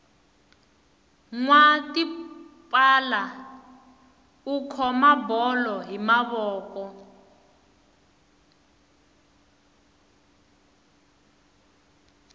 nwa tipala u khoma bolo hi mavoko